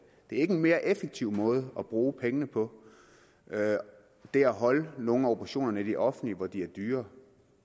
det er ikke en mere effektiv måde at bruge pengene på det er at holde nogle af operationerne i det offentlige hvor de er dyrere